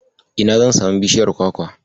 Ina zan samu bishiyar Kwakwa?